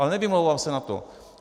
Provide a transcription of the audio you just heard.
Ale nevymlouvám se za to.